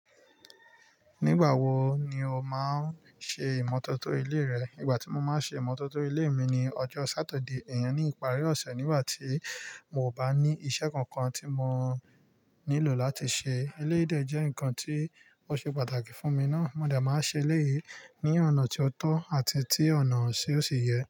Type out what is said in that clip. Nígbà wo ni o máa ń ṣe ìmọ́tótó ilé rẹ? Ìgbà tí mo máa ń ṣe ìmọ́tótó ilé mi ni ọjọ́ Sátidé. Ìyẹn ni ìparí ọ̀sẹ̀ nígbà tí mi ò bá ní iṣẹ́ kankan tí mò nílò láti ṣe. Eléyìí jẹ́ nǹkan tí ó ṣe pàtàkì fún mi ná. Mó de máa n ṣe eléyìí ní ọ̀nà tó tọ́ àti tí ọ̀nà ṣi ó sì yẹ.